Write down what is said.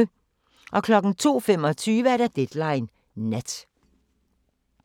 02:25: Deadline Nat